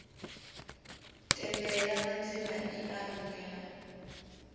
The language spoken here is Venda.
tendela madzina i a rumela